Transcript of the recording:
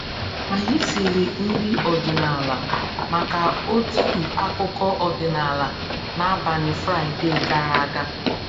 Anyị siri nri ọdịnala maka otu akụkọ ọdịnala n’abalị Fraịde gara aga